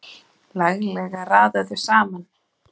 Laglega raðað saman!